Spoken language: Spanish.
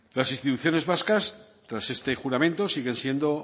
las instituciones vascas tras este juramento siguen siendo